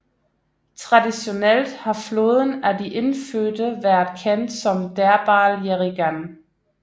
Traditionelt har floden af de indfødte været kendt som Derbarl Yerrigan